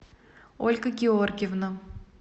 ольга георгиевна